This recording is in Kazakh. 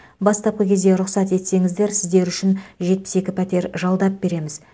бастапқы кезде рұқсат етсеңіздер сіздер үшін жетпіс екі пәтер жалдап береміз